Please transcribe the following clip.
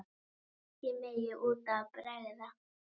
Ekkert megi út af bregða.